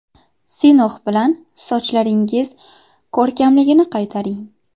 Sinox bilan sochlaringiz ko‘rkamligini qaytaring!